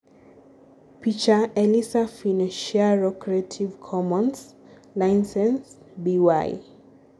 picha © Elisa Finocchiaro Creative Commons - ?license -? BY